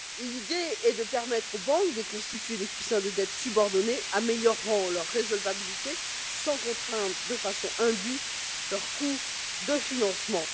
L'idée est de permettre aux banques de constituer des coussins de dettes subordonnées améliorant leur résolvabilité, sans contraindre de façon indue leur coût de financement.